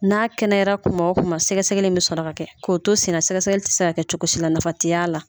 N'a kɛnɛyara tuma o tuma sɛgɛsɛgɛli bɛ sɔrɔ kɛ k'o to senna sɛgɛsɛgɛli tɛ se ka kɛ cogo si la nafa tɛ y'a la